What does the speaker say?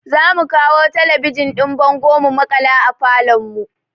Za mu kawo talabijin ɗin bango mu maƙala a falon mu